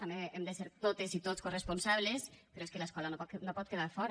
també n’hem de ser totes i tots corresponsables però és que l’escola no en pot quedar fora